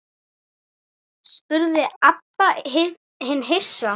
spurði Abba hin hissa.